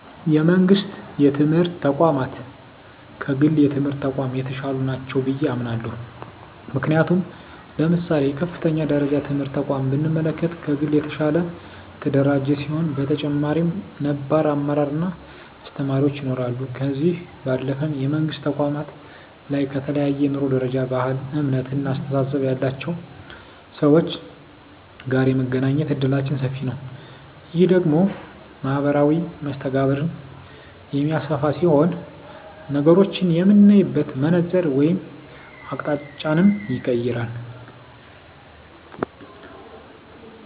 የመንግስት የትምህርት ተቋማት ከግል የትምህርት ተቋማት የተሻሉ ናቸው ብየ አምናለሁ። ምክንያቱም ለምሳሌ የከፍተኛ ደረጃ ትምህርት ተቋምን ብንመለከት ከግል የተሻለ የተደራጀ ሲሆን በተጨማሪም ነባር አመራር እና አስተማሪዎች ይኖረዋል። ከዚህ ባለፈም የመንግስት ተቋማት ላይ ከተለያየ የኑሮ ደረጃ፣ ባህል፣ እምነት እና አስተሳሰብ ያላቸው ሰወች ጋር የመገናኘት እድላችን ሰፊ ነዉ። ይህ ደግሞ ማህበራዊ መስተጋብርን የሚያሰፋ ሲሆን ነገሮችን የምናይበትን መነፀር ወይም አቅጣጫንም ይቀየራል።